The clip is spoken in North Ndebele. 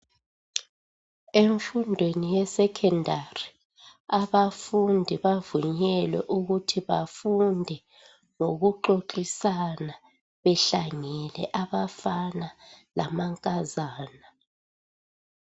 Emfundweni yesecondary abafundi bavunyelwe ukuthi bafunde ngoku xoxisana behlangene abafana lamankazana.